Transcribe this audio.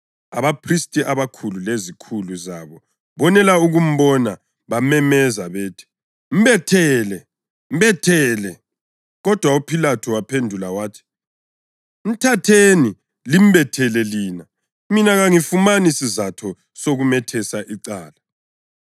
Abaphristi abakhulu lezikhulu zabo bonela ukumbona bamemeza bathi, “Mbethele! Mbethele!” Kodwa uPhilathu waphendula wathi, “Mthatheni limbethele lina. Mina, kangifumani sizatho sokumethesa icala.”